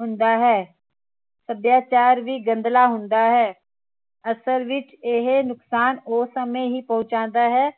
ਹੁੰਦਾ ਹੈ ਸੱਭਿਆਚਾਰ ਵੀ ਗੰਦਲਾ ਹੁੰਦਾ ਹੈ ਅਸਲ ਵਿਚ ਇਹ ਨੁਕਸਾਨ ਉਹ ਸਮੇ ਹੀ ਪਹੁੰਚਾਂਦਾ ਹੈ